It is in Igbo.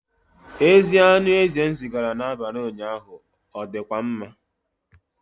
Ezi anụ ezi m zigara n'abalị ụnyaahụ ọ dịkwa mma?